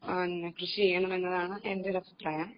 കൃഷിചെയ്യണമെന്നതാണ് എന്റെയൊരു അഭിപ്രായം